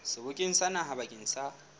sebokeng sa naha bakeng sa